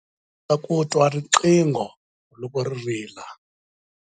Ndzi kota ku twa riqingho loko ri rila.